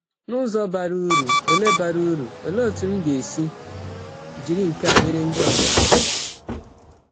N’ụzọ bara uru, olee bara uru, olee otú m ga-esi jiri nke a nyere ndị ọzọ aka?